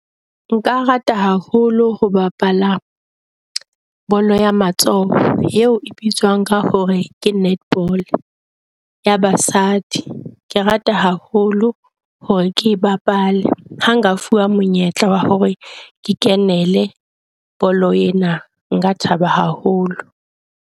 Nka rata haholo ho bapala bolo ya matsoho eo e bitswang ka hore ke netball ya basadi. Ke rata haholo hore ke e bapale ha nka fuwa monyetla wa hore ke kenele bolo ena, nka thaba haholo.